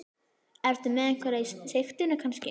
Ertu með einhverja í sigtinu kannski?